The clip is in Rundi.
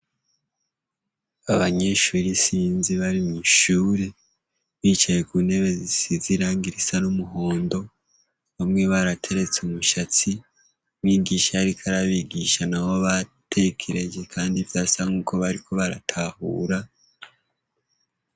Abanyeshure isinzi bari mw'ishuri, bicaye ku ntebe zisize irangi zisa n'umuhondo. Bamwe barateretse imishatsi, umwigisha yariko arabigisha n'abo batekereje, kandi vyasa nuko bariko baratahura.